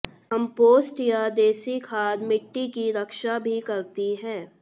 compost या देसी खाद मिट्टी की रक्षा भी करती है